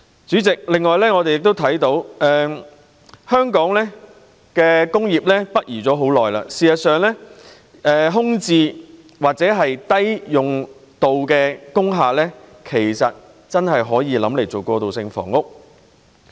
主席，我們亦看到香港的工業北移已有一段長時間，真的可以考慮使用空置或低用量工廈來興建過渡性房屋。